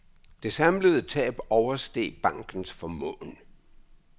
Det samlede tab oversteg bankens formåen.